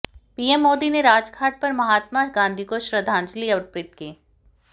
PM Modi ने राजघाट पर महात्मा गांधी को श्रद्धांजलि अर्पित की